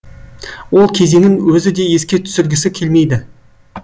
ол кезеңін өзі де еске түсіргісі келмейді